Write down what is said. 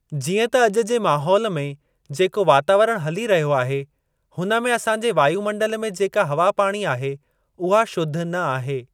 जिअं त अॼु जे माहौल में जेको वातावरणु हली रहियो आहे हुन में असांजे वायुमंडल में जेका हवा पाणी आहे उहा शुद्ध न आहे।